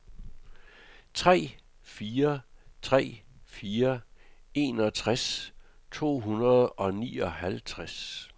tre fire tre fire enogtres to hundrede og nioghalvtreds